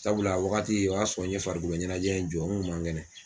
Sabula a wagati o y'a sɔrɔ n ye farikolo ɲɛnajɛ in jɔ n kun man kɛnɛ.